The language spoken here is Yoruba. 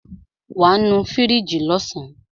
Wàá nu fíríjì lọ́sàn.